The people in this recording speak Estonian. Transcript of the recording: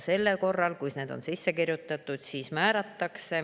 Ja kui see on sisse kirjutatud, siis selle korral see määratakse.